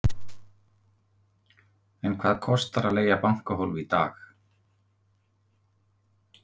Sindri Sindrason: En hvað kostar að leigja bankahólf í dag?